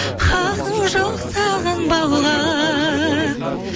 хақың жоқ сағынбауға